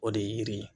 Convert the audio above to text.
O de ye yiri ye